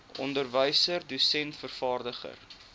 onderwyser dosent vervaardiger